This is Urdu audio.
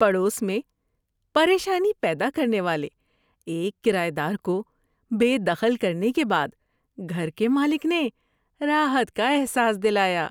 پڑوس میں پریشانی پیدا کرنے والے ایک کرایہ دار کو بے دخل کرنے کے بعد گھر کے مالک نے راحت کا احساس دلایا۔